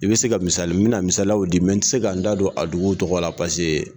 I bɛ se ka misali n mɛ na misaliyaw di n tɛ se ka n da don a duguw tɔgɔ la paseke